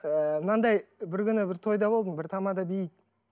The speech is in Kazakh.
ы мынандай бір күні бір тойда болдым бір тамада дейді